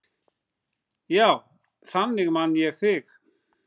Já, þannig man ég þig.